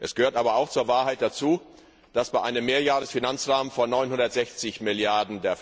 Es gehört aber auch zur Wahrheit dazu, dass bei einem Mehrjährigen Finanzrahmen von 960 Mrd.